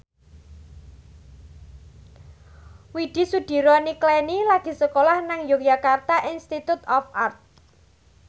Widy Soediro Nichlany lagi sekolah nang Yogyakarta Institute of Art